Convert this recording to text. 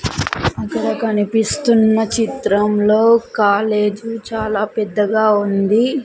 అక్కడ కనిపిస్తున్న చిత్రంలో కాలేజీ చాలా పెద్దగా ఉంది.